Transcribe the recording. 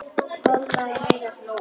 Kolla og Heiða hlógu líka.